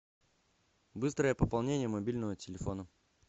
быстрое пополнение мобильного телефона